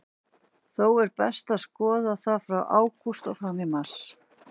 Þó er best að skoða það frá ágúst og fram í mars.